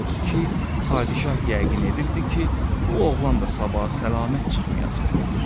Odur ki, padişah yəqin edirdi ki, bu oğlan da sabah salamat çıxmayacaqdır.